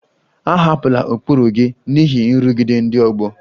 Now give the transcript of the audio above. Ahapụla ụkpụrụ gị n'ihi nrụgide ndị ọgbọ!